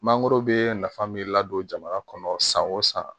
Mangoro bɛ nafa min ladon jamana kɔnɔ san o san